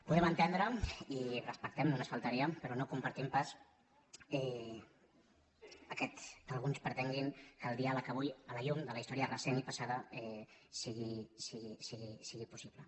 podem entendre i ho respectem només faltaria pe·rò no ho compartim pas que alguns pretenguin que el diàleg avui a la llum de la història recent i passada sigui possible